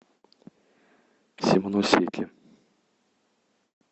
симоносеки